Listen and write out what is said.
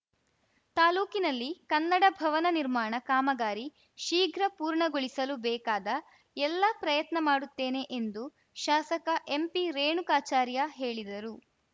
ತಾಲೂಕಿನಲ್ಲಿ ಕನ್ನಡ ಭವನ ನಿರ್ಮಾಣ ಕಾಮಗಾರಿ ಶೀಘ್ರ ಪೂರ್ಣಗೊಳಿಸಲು ಬೇಕಾದ ಎಲ್ಲ ಪ್ರಯತ್ನ ಮಾಡುತ್ತೇನೆ ಎಂದು ಶಾಸಕ ಎಂಪಿರೇಣುಕಾಚಾರ್ಯ ಹೇಳಿದರು